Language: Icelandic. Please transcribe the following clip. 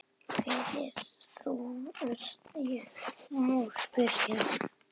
Hver ert þú ef ég má spyrja?